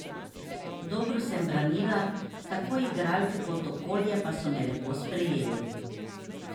Dobro sem branila, tako igralke kot okolje pa so me lepo sprejeli.